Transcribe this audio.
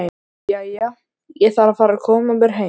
Jæja, ég þarf að fara að koma mér heim